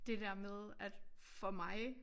Det der med at for mig